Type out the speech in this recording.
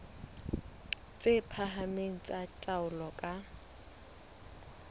tse phahameng tsa taolo ka